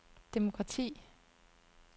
demokrati